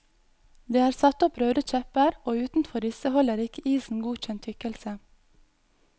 Det er satt opp røde kjepper og utenfor disse holder ikke isen godkjent tykkelse.